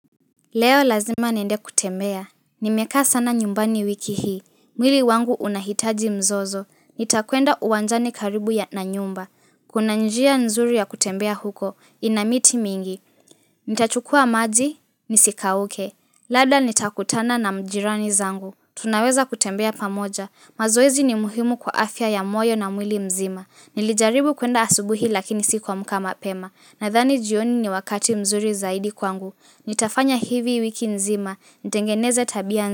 Leo lazima niende kutembea, nimekaa sana nyumbani wiki hii, mwili wangu unahitaji mzozo, nitakuenda uwanjani karibu ya na nyumba, kuna njia nzuri ya kutembea huko, ina miti mingi, nitachukua maji, nisikauke, labda nitakutana na majirani zangu, tunaweza kutembea pamoja, mazoezi ni muhimu kwa afya ya moyo na mwili mzima, nilijaribu kuenda asubuhi lakini sikuamka mapema, nadhani jioni ni wakati mzuri zaidi kwangu, Nitafanya hivi wiki nzima, nitengeneze tabia njema.